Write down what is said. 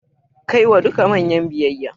Kai wa duka manyan biyayya.